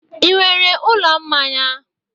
Ị nwere ụlọ mmanya?